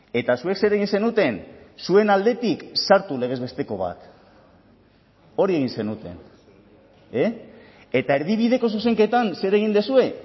eta zuek zer egin zenuten zuen aldetik sartu legez besteko bat hori egin zenuten eta erdibideko zuzenketan zer egin duzue